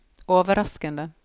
overraskende